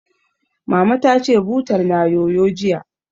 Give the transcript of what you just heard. Mama ta ce, butar na yoyo, jiya